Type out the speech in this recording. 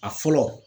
A fɔlɔ